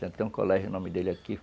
Tem até um colégio em nome dele aqui.